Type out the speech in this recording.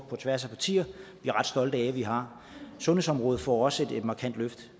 på tværs af partier er ret stolte af at vi har sundhedsområdet får også et markant løft